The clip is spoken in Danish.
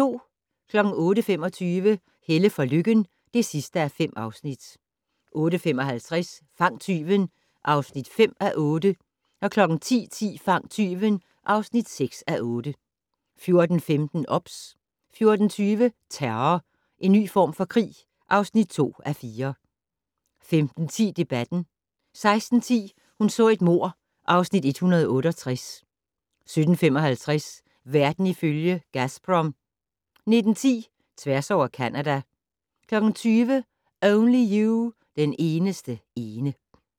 08:25: Helle for Lykken (5:5) 08:55: Fang tyven (5:8) 10:10: Fang tyven (6:8) 14:15: OBS 14:20: Terror - en ny form for krig (2:4) 15:10: Debatten 16:10: Hun så et mord (Afs. 168) 17:55: Verden ifølge Gazprom 19:10: Tværs over Canada 20:00: Only You - den eneste ene